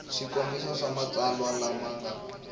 swikombiso swa matsalwa lama nga